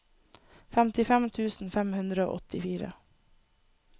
femtifem tusen fem hundre og åttifire